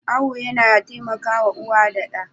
Awo yana taimakawa uwar da ɗan.